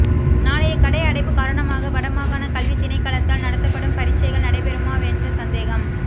நாளைய கடை அடைப்பு காரணமாக வடமாகாண கல்வி திணைக்களத்தால் நடத்தப்படும் பரீட்சைகள் நடைபெறுமாவென்ற சந்தேகம்